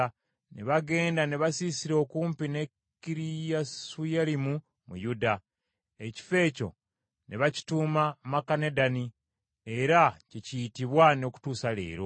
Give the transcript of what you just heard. Ne bagenda ne basiisira okumpi ne Kiriyasuyalimu mu Yuda. Ekifo ekyo ne bakituuma Makanedani era kye kiyitibwa n’okutuusa leero.